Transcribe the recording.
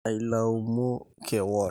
Ailaumu kewon.